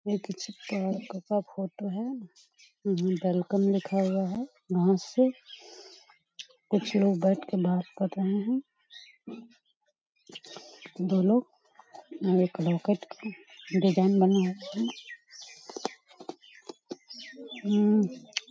ये कुछ पार्क का फोटो है वेलकम लिखा हुआ है यहां पे कुछ लोग बैठ के बात कर रहे है दो लोग डिजाइन बना रहे है हूं --